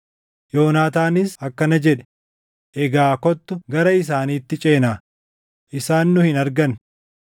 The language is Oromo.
Yoonaataanis akkana jedhe; “Egaa kottu gara isaaniitti ceenaa; isaan nu hin argan.